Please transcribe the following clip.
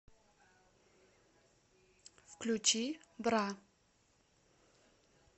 включи бра